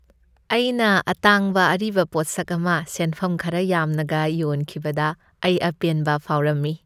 ꯑꯩꯅ ꯑꯇꯥꯡꯕ ꯑꯔꯤꯕ ꯄꯣꯠꯁꯛ ꯑꯃ ꯁꯦꯟꯐꯝ ꯈꯔ ꯌꯥꯝꯅꯒ ꯌꯣꯟꯈꯤꯕꯗ ꯑꯩ ꯑꯄꯦꯟꯕ ꯐꯥꯎꯔꯝꯃꯤ꯫